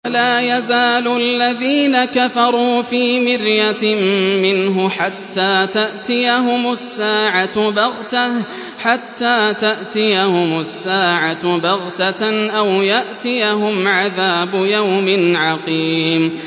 وَلَا يَزَالُ الَّذِينَ كَفَرُوا فِي مِرْيَةٍ مِّنْهُ حَتَّىٰ تَأْتِيَهُمُ السَّاعَةُ بَغْتَةً أَوْ يَأْتِيَهُمْ عَذَابُ يَوْمٍ عَقِيمٍ